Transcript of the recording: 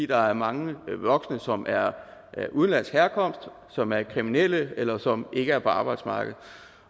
der er mange voksne som er af udenlandsk herkomst som er kriminelle eller som ikke er på arbejdsmarkedet